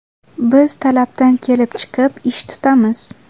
Biz talabdan kelib chiqib, ish tutamiz.